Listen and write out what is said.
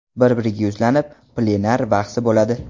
Bir-biriga yuzlanib” plenar bahsi bo‘ladi.